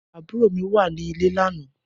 Abúró mi wà nilé lànã